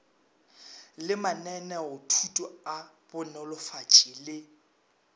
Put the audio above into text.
le mananeothuto a banolofatši le